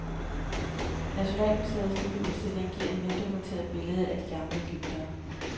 Nationalmuseets nye udstilling giver et veldokumenteret billede af de gamle egyptere.